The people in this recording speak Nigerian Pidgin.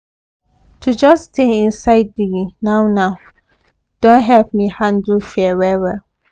to just stay inside the now now don help me handle fear well